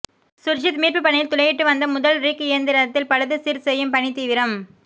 சுர்ஜித் மீட்பு பணியில் துளையிட்டுவந்த முதல் ரிக் இயந்திரத்தில் பழுது சீர் செய்யும் பணி தீவிரம்